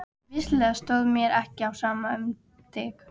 Vissulega stóð mér ekki á sama um þig.